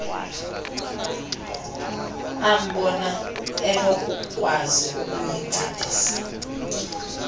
ambona enokukwazi ukuyincedisa